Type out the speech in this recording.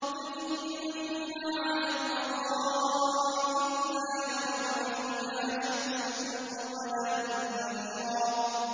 مُّتَّكِئِينَ فِيهَا عَلَى الْأَرَائِكِ ۖ لَا يَرَوْنَ فِيهَا شَمْسًا وَلَا زَمْهَرِيرًا